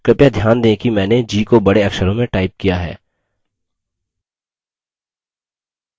कृपया ध्यान दें कि मैंने g को बड़े अक्षरों में टाइप किया है